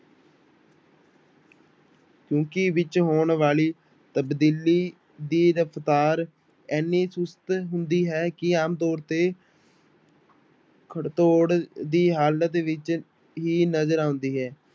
ਕਿਉਂਕਿ ਵਿੱਚ ਹੋਣ ਵਾਲੀ ਤਬਦੀਲੀ ਦੀ ਰਫ਼ਤਾਰ ਇੰਨੀ ਚੁਸਤ ਹੁੰਦੀ ਹੈ ਕਿ ਆਮ ਤੌਰ ਤੇ ਖੜਤੋੜ ਦੀ ਹਾਲਤ ਵਿੱਚ ਹੀ ਨਜ਼ਰ ਆਉਂਦੀ ਹੈ।